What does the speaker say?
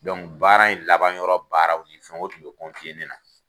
baara in laban yɔrɔ baaraw ni fɛnw o tun bɛ ne na.